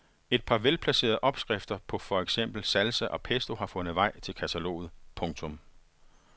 Et par velplacerede opskrifter på for eksempel salsa og pesto har fundet vej til kataloget. punktum